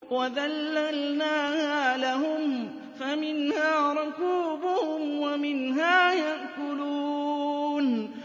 وَذَلَّلْنَاهَا لَهُمْ فَمِنْهَا رَكُوبُهُمْ وَمِنْهَا يَأْكُلُونَ